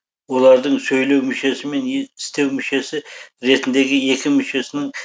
олардың сөйлеу мүшесі мен істеу мүшесі ретіндегі екі мүшесінің